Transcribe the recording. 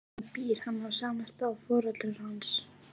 En býr hann á sama stað og foreldrar hans?